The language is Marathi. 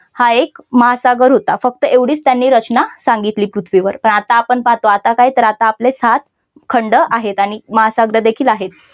हा एक महासागर होता. फक्त एवढीच त्यांनी रचना सांगितली पृथ्वीवर पण आता आपण पाहतो तर आता काय आपले सात खंड आहेत. आणि महासागर देखील आहेत.